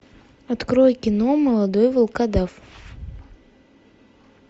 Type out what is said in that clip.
открой кино молодой волкодав